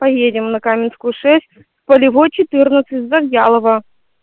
поедем на каменскую шесть полевой четырнадцать завьялово